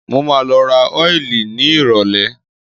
Mo máa lọ ra ọ́ìlì nírọ̀lẹ́.